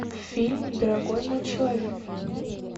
фильм дорогой мой человек